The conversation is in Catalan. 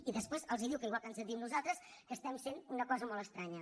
i després els diu igual que ens ho diu a nosaltres que estem sent una cosa molt estranya